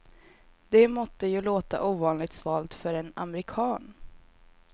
Det måtte ju låta ovanligt svalt för en amerikan.